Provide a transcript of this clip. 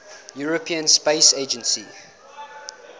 european space agency